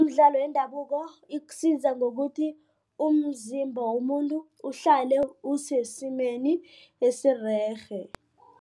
Imidlalo yendabuko ikusiza ngokuthi umzimba womuntu uhlale usesimeni esirerhe.